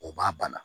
O b'a bana